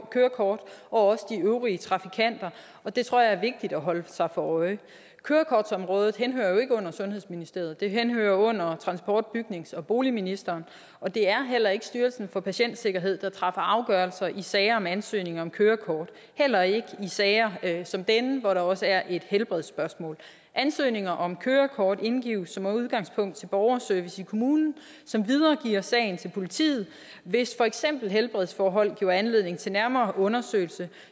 kørekort og også de øvrige trafikanter og det tror jeg er vigtigt at holde sig for øje kørekortsområdet henhører jo ikke under sundhedsministeriet det henhører under transport bygnings og boligministeren og det er heller ikke styrelsen for patientsikkerhed der træffer afgørelser i sager om ansøgning om kørekort heller ikke i sager som denne hvor der også er et helbredsspørgsmål ansøgninger om kørekort indgives som udgangspunkt til borgerservice i kommunen som videregiver sagen til politiet hvis for eksempel helbredsforhold giver anledning til nærmere undersøgelse